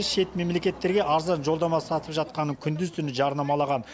шет мемлекеттерге арзан жолдама сатып жатқанын күндіз түні жарнамалаған